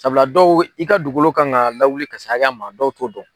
Sabula dɔw i ka dugukolo kan ka lawuli ka se hakɛya min ma dɔw t'o dɔn.